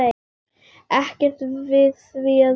Ekkert við því að segja.